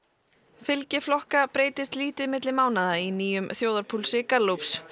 fylgi flokka breytist lítið milli mánaða í nýjum þjóðarpúlsi Gallups